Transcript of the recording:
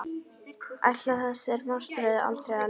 Ætlaði þessari martröð aldrei að linna?